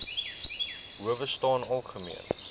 howe staan algemeen